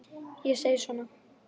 Ég segi svona.